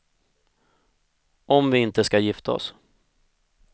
Om vi inte ska gifta oss.